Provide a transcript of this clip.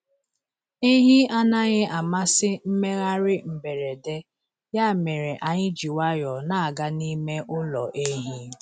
Ehi anaghị amasị mmegharị mberede, ya mere anyị ji nwayọọ na-aga n’ime ụlọ ehi.